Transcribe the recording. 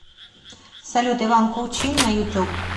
салют иван кучин на ютуб